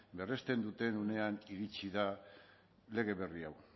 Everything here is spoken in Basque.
berresten duten unean iritsi da lege berri hau